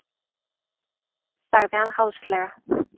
sagði hann háðslega.